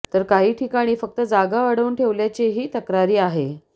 तर काही ठिकाणी फक्त जागा अडवून ठेवल्याचेही तक्रारी आहे